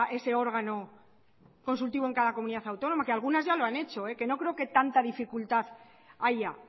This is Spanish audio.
ese órgano consultivo en cada comunidad autónoma que algunas ya lo han hecho que no creo que tanta dificultad haya